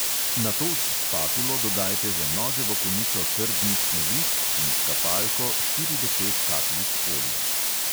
Nato s spatulo dodajte za noževo konico trdnih snovi in s kapalko štiri do pet kapljic olja.